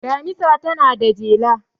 Damisa tana da jela.